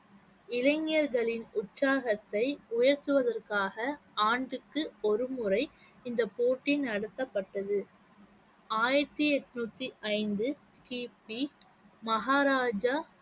இளைஞர்களின் உற்சாகத்தை உயர்த்துவதற்காக ஆண்டுக்கு ஒருமுறை இந்த போட்டி நடத்தப்பட்டது ஆயிரத்தி எண்ணூத்தி ஐந்து கிபி மகாராஜா